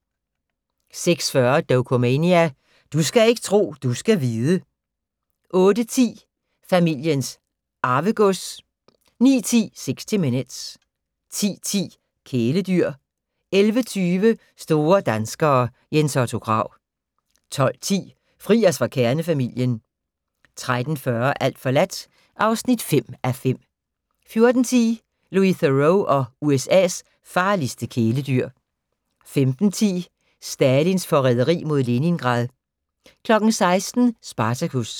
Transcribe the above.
06:40: Dokumania: Du skal ikke tro, du skal vide 08:10: Familiens Arvegods 09:10: 60 Minutes 10:10: Kæledyr 11:20: Store danskere - Jens Otto Krag 12:10: Fri os fra kernefamilien 13:40: Alt forladt (5:5) 14:10: Louis Theroux og USA's farligste kæledyr 15:10: Stalins forræderi mod Leningrad 16:00: Spartacus